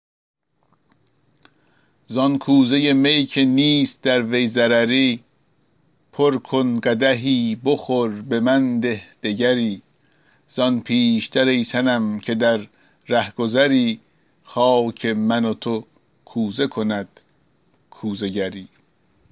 زان کوزه می که نیست در وی ضرری پر کن قدحی بخور به من ده دگری زان پیش تر ای صنم که در رهگذری خاک من و تو کوزه کند کوزه گری